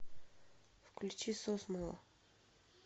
включи сосмула